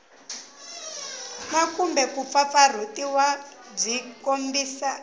na kumbe kumpfampfarhutiwa byi tikombisa